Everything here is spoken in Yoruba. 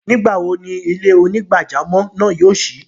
Nígbawo ni ilẹ̀-onígbàjàmọ́ náà yóò ṣí?